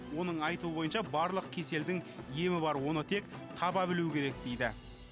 оның айтуы бойынша барлық кеселдің емі бар оны тек таба білу керек дейді